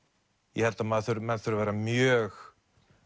ég held að menn þurfi menn þurfi að vera mjög